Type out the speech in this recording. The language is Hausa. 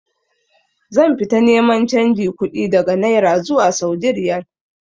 Zan fita neman canji kuɗi daga naira zuwa saudi riyal